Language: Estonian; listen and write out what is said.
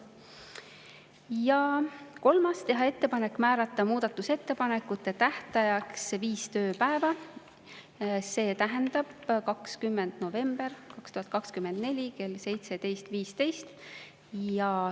Ja kolmandaks, teha ettepanek määrata muudatusettepanekute tähtajaks viis tööpäeva, see tähendab 20. november 2024 kell 17.15.